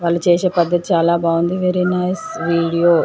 వాళ్ళు చేసే పడతి చాల బాగుంది వెరీ నైస్ వీడియో .